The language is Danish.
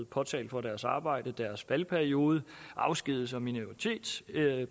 påtale for deres arbejde til deres valgperiode afskedigelser minoritetsbeskyttelse